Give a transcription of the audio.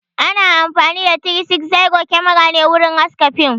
Ana amfani da "360 Camera" ne wurin haska fim